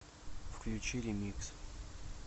включи ремикс